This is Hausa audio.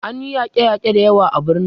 An yi yake yake da yawa a birnin